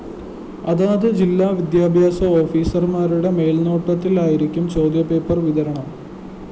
അതത് ജില്ലാ വിദ്യാഭ്യാസ ഓഫീസര്‍മാരുടെ മേല്‍നോട്ടത്തിലായിരിക്കും ചോദ്യപേപ്പര്‍ വിതരണം